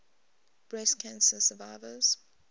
breast cancer survivors